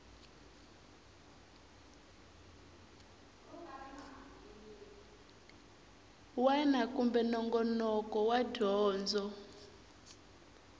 wana kumbe nongonoko wa dyondzo